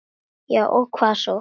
Já og hvað svo!